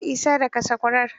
Isa, daka sakwarar.